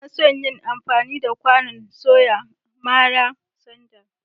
Ina son yin amfani da kwanon soya mara sanda.